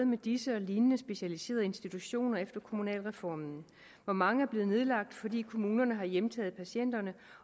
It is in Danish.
med disse og lignende specialiserede institutioner efter kommunalreformen hvor mange er blevet nedlagt fordi kommunerne har hjemtaget patienterne